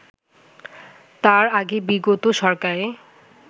তার আগে বিগত সরকারে